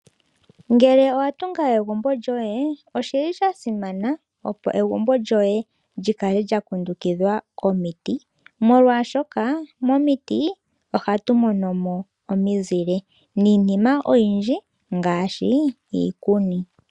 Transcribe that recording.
Ngele owa tunga egumbo lyoye, osha simana opo egumbo lyoye li kale lya kundukidhwa komiti, molwashoka momiti ohatu mono mo omizile niinima oyindji ngaashi iikuni.